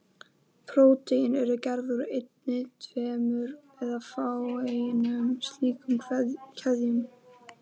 Prótín eru gerð úr einni, tveimur eða fáeinum slíkum keðjum.